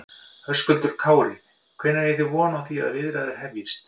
Höskuldur Kári: Hvenær eigi þið von á því að viðræður hefjist?